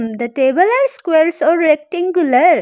The table are squares or rectangular.